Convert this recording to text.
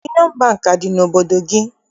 Yunịọn Bankị, adị n'obodo gị?